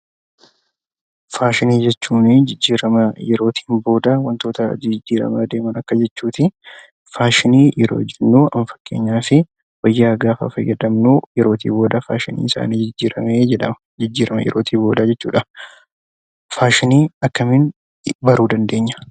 Faashinii jechuun jijjiirama yerootiin booda wantoota jijjiiramaa deemanii akka jechuu ti. Faashinii yeroo jennu, amma fakkeenyaaf wayyaa gaafa fayyadamnu, yerootii booda faashiniin isaa ni jijjiirame jedhama. Jijjiirama yerootii booda jechuu dha. Faashinii akkamiin baruu dandeenya?